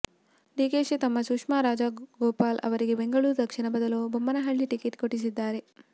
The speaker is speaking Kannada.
ಡಿಕೆಶಿ ತಮ್ಮ ಸುಷ್ಮಾ ರಾಜಗೋಪಾಲ್ ಅವರಿಗೆ ಬೆಂಗಳೂರು ದಕ್ಷಿಣದ ಬದಲು ಬೊಮ್ಮನಹಳ್ಳಿ ಟಿಕೆಟ್ ಕೊಡಿಸಿದ್ದಾರೆ